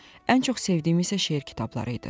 Ən çox sevdiyim isə şeir kitabları idi.